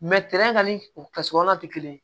ni o kɛsukɔlɔ tɛ kelen ye